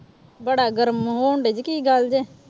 ਬੜਾ ਗਰਮ ਹੋਣਡੇ ਜੀ ਕੀ ਗੱਲ ਜੇ।